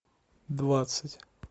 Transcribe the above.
двадцать